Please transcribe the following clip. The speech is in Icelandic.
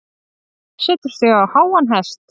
Setur sig á háan hest.